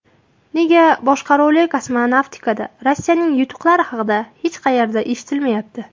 Nega boshqaruvli kosmonavtikada Rossiyaning yutuqlari haqida hech qayerda eshitilmayapti?